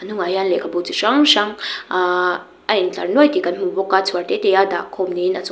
hnung ah hian lekhabu chi hrang hrang aaa a in tlar nuai thi kan hmu bawka chhuar te te a dah khawm ni in a chung--